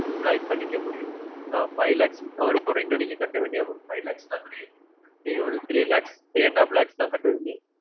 claim பண்ணிக்க முடியும் ஆஹ் five lakhs cover போடுறீங்கனா நீங்க கட்ட வேண்டிய amount five lakhs லான் கிடையாது நீங்க ஒரு three lakhs three and half lakhs தான் கட்டுவீங்க